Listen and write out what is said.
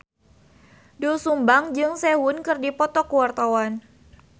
Doel Sumbang jeung Sehun keur dipoto ku wartawan